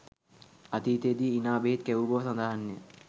අතීතයේ දී ඉනා බෙහෙත් කැවූ බව සඳහන්ය